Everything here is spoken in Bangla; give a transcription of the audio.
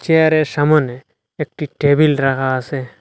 চেয়ারের সামোনে একটি টেবিল রাখা আসে।